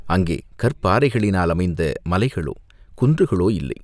அங்கே கற்பாறைகளினால் அமைந்த மலைகளோ, குன்றுகளோ இல்லை.